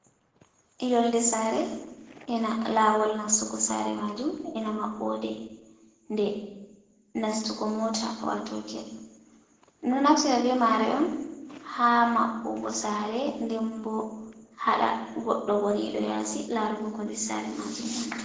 Yonde sare ena lawol nastugo sare majum ena maɓɓode nde nastugo mota wato get, ɗum ɗo naftida be mare on ha maɓɓugo sare nden bo haɗa goɗɗo goniɗo yasi larugo yonde sare majum wonti ndiri.